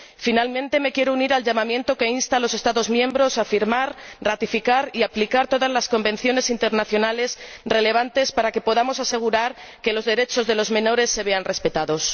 Finalmente, me quiero unir al llamamiento que insta a los Estados miembros a firmar, ratificar y aplicar todas las convenciones internacionales relevantes para que podamos asegurar que los derechos de los menores se vean respetados.